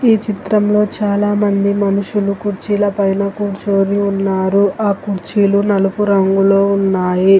ఈ చిత్రంలో చాలా మంది మనుషులు కుర్చీల పైన కూర్చొని ఉన్నారు ఆ కుర్చీలు నలుపురంగులో ఉన్నాయి.